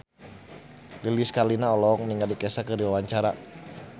Lilis Karlina olohok ningali Kesha keur diwawancara